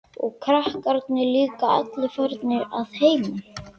Og krakkarnir líka allir farnir að heiman.